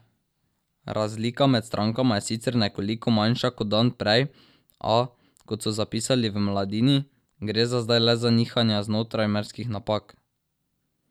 Razlika med strankama je sicer nekoliko manjša kot dan prej, a, kot so zapisali v Mladini, gre za zdaj le za nihanja znotraj merskih napak.